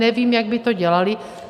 Nevím, jak by to dělali.